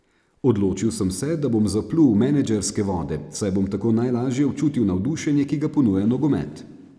Odločil sem se, da bom zaplul v menedžerske vode, saj bom tako najlažje občutil navdušenje, ki ga ponuja nogomet.